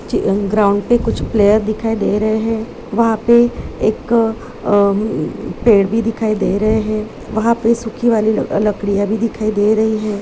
Ground पे कुछ player दिखाई दे रहे है वहाँ पे एक अ म-- पेड़ भी दिखाई दे रहे है वहां पे सूखी वाली ल- लड़कियां भी दिखाई दे रही हैं।